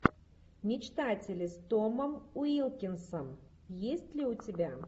мечтатели с томом уилкинсом есть ли у тебя